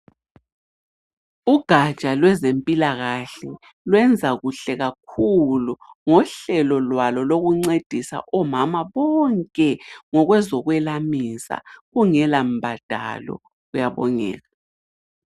Ugaja lwezempilakahle lwenza kuhle kakhulu ngohlelo lwalo lokuncedisa omama bonke ngokwezokwelamisa kungela mbadalo kuyabongeka.